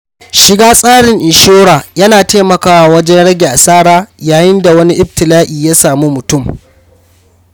Shiga tsarin inshora ya na taimakawa wajen rage asara yayin da wani ibtila'i ya samu mutum.